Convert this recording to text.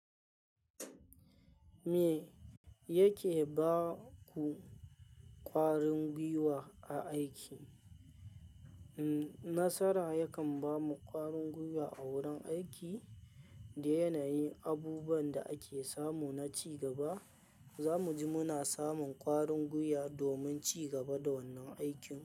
Me yake baku ƙwarin gwiwa a aiki? Nasara yakan bamu ƙwarin gwiwa a wurin aiki da yanayin abubuwan da ake samu na cigaba. Za muji muna samun ƙwarin gwiwa domin cigaba da wannan aikin.